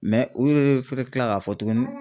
u yee fɛnɛ bɛ tila k'a fɔ tuguni